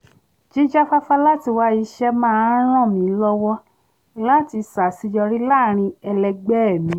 jíjáfáfá láti wá iṣẹ́ máa ń ràn mí lọ́wọ́ láti ṣàseyorí láàrín ẹlẹgbẹ́ẹ̀ mi